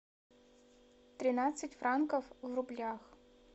тринадцать франков в рублях